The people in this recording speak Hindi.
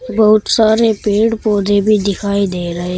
बहुत सारे पेड़ पौधे भी दिखाई दे रहे है।